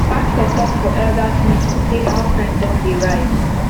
pastor talk for elders meeting say house rent don dey rise